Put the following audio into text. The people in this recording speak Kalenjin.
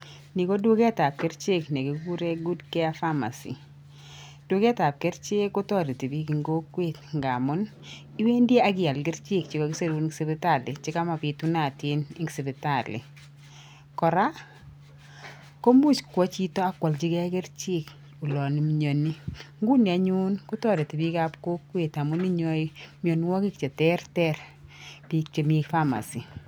NI koduket ab kerichek nekikuren good care pharmacy duket ab kerichek kotoreti bik en kokwet ngamuniwendii ak ial kerichek chekakisirun en sipitali chekomo pitunatin en sipitali koraa ko imuch kwo chito ak kwoljigee kerichek olon imionii inguni anyun kotoreti bik ab kokwet amun inyoe mionwoki cheterter bik chemii pharmacy.